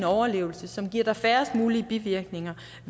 overlevelse og som giver færrest mulige bivirkninger